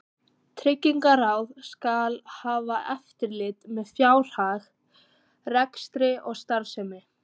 Tryggingaráð skal hafa eftirlit með fjárhag, rekstri og starfsemi